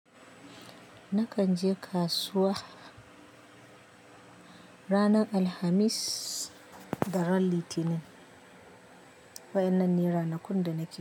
Nakan je kasuwa, ranar Alhamis da ranar Litinin. Waɗannan ne ranakun da nake.